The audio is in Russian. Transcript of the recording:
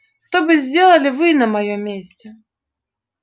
то бы сделали вы на моём месте